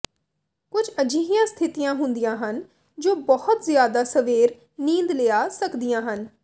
ਕੁਝ ਅਜਿਹੀਆਂ ਸਥਿਤੀਆਂ ਹੁੰਦੀਆਂ ਹਨ ਜੋ ਬਹੁਤ ਜ਼ਿਆਦਾ ਸਵੇਰੇ ਨੀਂਦ ਲਿਆ ਸਕਦੀਆਂ ਹਨ